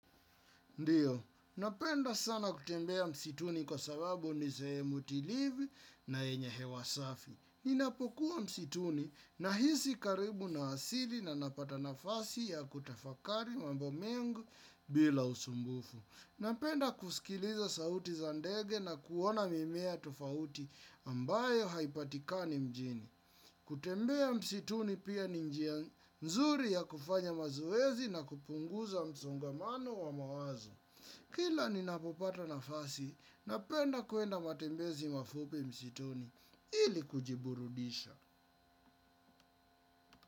Ndiyo, napenda sana kutembea msituni kwa sababu ni sehemu tulivi na yenye hewa safi. Ninapokuwa msituni nahisi karibu na asili na napata nafasi ya kutafakari mambo mengi bila usumbufu. Napenda kusikiliza sauti za ndege na kuona mimea tofauti ambayo haipatikani mjini. Kutembea msituni pia ni njia mzuri ya kufanya mazoezi na kupunguza msongamano wa mawazo. Kila ninapopata nafasi napenda kuenda matembezi mafupi msituni ili kujiburudisha.